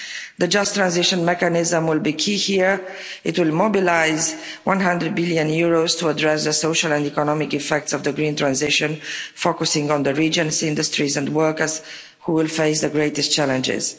The Just Transition Mechanism will be key here it will mobilise EUR 100 billion to address the social and economic effects of the green transition, focusing on the region's industries and workers who will face the greatest challenges.